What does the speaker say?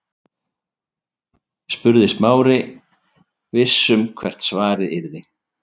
spurði Smári, viss um hvert svarið yrði.